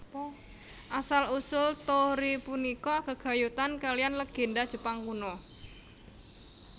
Asal usul torii punika gegayutan kalihan legènda Jepang kuno